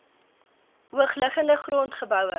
hoogliggende grond geboue